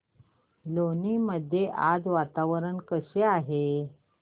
लोणी मध्ये आज वातावरण कसे आहे